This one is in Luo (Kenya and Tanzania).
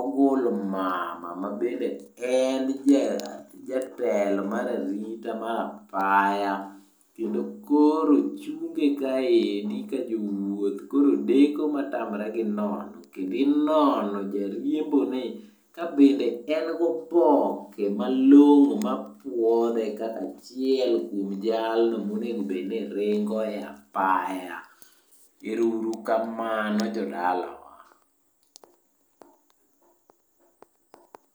ogul mama mabende en jatelo mar arita mar apaya ,kendo koro chunge kaendi ka jowuoth koro deko matamre gi nono. Kendo inono jariembo ni kabende en goboke malong'o mapuodhe kaka achiel kuom jalno monego bed ni ringo e apaya. Ero uru kamano jodalawa.